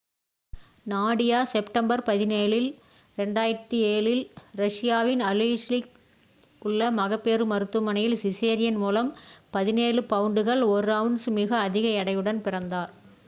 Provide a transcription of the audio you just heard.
Nadia September 17 2007 இல் ரஷியாவின் Aleysk இல் உள்ள மகப்பேறு மருத்துவமனையில் சிசேரியன் மூலம் 17 பவுண்டுகள் 1 அவுன்ஸ் மிக அதிக எடையுடன் பிறந்தார்